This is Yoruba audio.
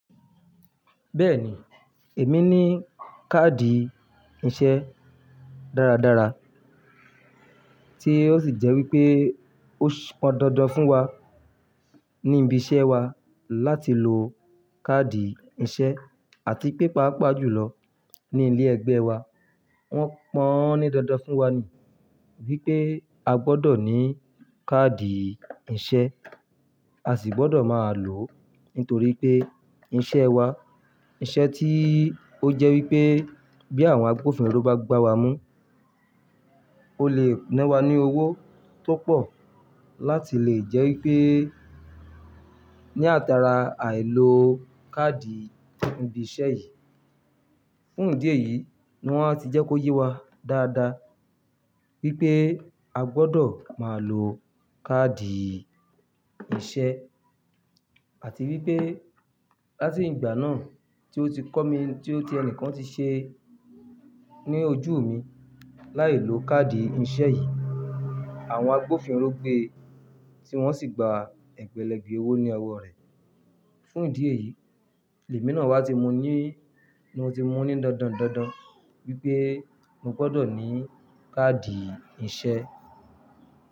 Bẹ́ẹ̀ni, èmi ní káàdì ìṣe dáradára tí ó sì jẹ́ wípé ó pọn dandan fún wa ní ibi iṣẹ́ wa láti lo káàdì ìṣe àti paapaa jùlọ ní ilé ẹgbẹ́ wa. Wọ́n pọ́n ní dandan fún wa ni wípé a gbọdọ̀ ní káàdì ìṣe, a sì gbọdọ̀ máa lò ó nítorí pé iṣẹ́ wa, iṣẹ́ tí ó jẹ́ wípé bí àwọn agbófinró bá gbá wa mú, ó lè ná wa ní owó tó pọ̀ láti lè jẹ́ wípé ní àtàrà àìlo káàdì ibi iṣẹ́ yìí. Fún ìdí èyí ni wọ́n ti jẹ́ kó yé wa dáadáa wípé a gbọdọ̀ máa lo káàdì ìṣe àti wípé láti ìgbà náà tí ó ti kọ́ mi, tí ó ti ẹni kan ti ṣe ní ojú mi láìlo káàdì ìṣe yìí, àwọn agbófinró gbé e tí wọ́n sì gba ẹgbẹ̀lẹ́gbẹ̀ẹ́ owó ní ọwọ́ rẹ̀. Fún ìdí èyí, èmi náà wá ti mú ní, mo ti mú ó ní dandan dandan wípé mo gbọdọ̀ ní káàdì ìṣe.